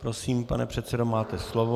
Prosím, pane předsedo, máte slovo.